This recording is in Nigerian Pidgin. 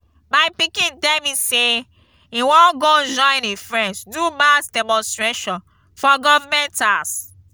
my pikin tell me say he wan go join im friends do mass demonstration for government house